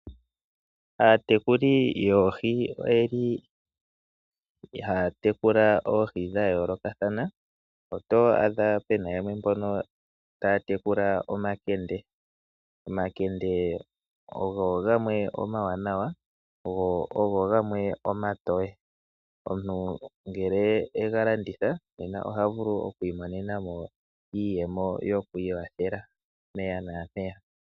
Aatwkuli yoohi oyeli haa tekula oohi dha yoolokathana, oto adha pena yamwe mbono taya tekula omakende. Omakende ogo gamwe omawanawa, go ogo gamwe omatoye. Omuntu ngele e ga landitha ohavulu omu imonenamo iiyemo yoku ikwathela mpeya na mpeya.